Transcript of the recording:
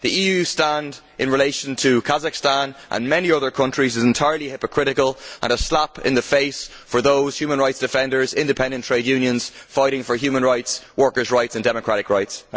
The EU stand in relation to Kazakhstan and many other countries is entirely hypocritical and a slap in the face for those human rights defenders and independent trade unions fighting for human rights, workers' rights and democratic rights.